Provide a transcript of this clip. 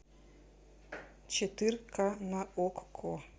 четырка на окко